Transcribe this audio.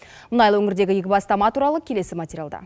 мұнайлы өңірдегі игі бастама туралы келесі материалда